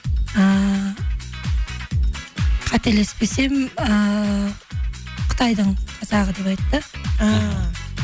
ііі қателеспесем ііі қытайдың қазағы деп айтты ііі